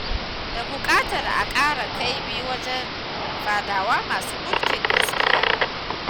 Da buƙatar a ƙara ƙaimi wajen faɗawa masu mulki gaskiya.